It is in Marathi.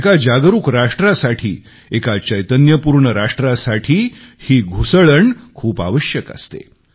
एका जागरुक राष्ट्रासाठी एका चैतन्यपूर्ण राष्ट्रासाठी ही घुसळण खूप आवश्यक असते